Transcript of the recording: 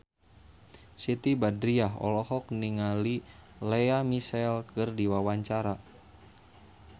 Siti Badriah olohok ningali Lea Michele keur diwawancara